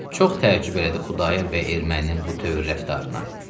Çox təəccüb elədi Xudayar bəy erməninin bu tövr rəftarına.